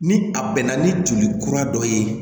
Ni a bɛnna ni joli kura dɔ ye